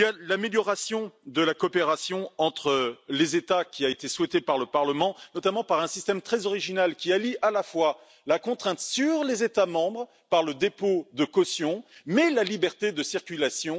L'amélioration de la coopération entre les États a également été souhaitée par le Parlement, notamment par un système très original qui allie la contrainte sur les États membres par le dépôt de caution et la liberté de circulation.